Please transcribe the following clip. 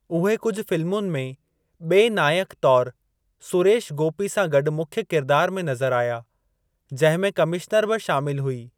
उहे कुझु फ़िल्मुनि में ॿिए नाइक तौरु सुरेश गोपी सां गॾु मुख्य किरदार में नज़र आया, जंहिं में कमिश्नर बि शामिलु हुई।